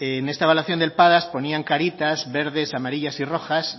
en esta evaluación del padas ponían caritas verdes amarillas y rojas